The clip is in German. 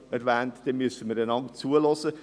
Das habe ich gestern bereits gesagt.